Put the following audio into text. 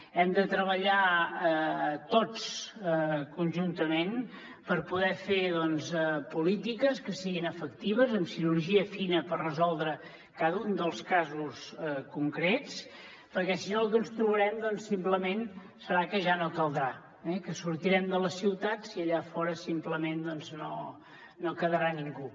hem de treballar tots conjuntament per poder fer polítiques que siguin efectives amb cirurgia fina per resoldre cada un dels casos concrets perquè si no el que ens trobarem simplement serà que ja no caldrà que sortirem de les ciutats i allà fora simplement no hi quedarà ningú